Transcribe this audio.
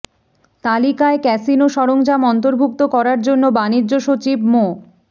তালিকায় ক্যাসিনো সরঞ্জাম অন্তর্ভুক্ত করার জন্য বাণিজ্য সচিব মো